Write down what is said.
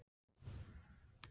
Sanngjarnari get ég ekki verið.